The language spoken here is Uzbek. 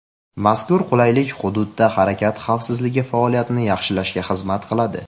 Mazkur qulaylik hududda harakat xavfsizligi faoliyatini yaxshilashga xizmat qiladi.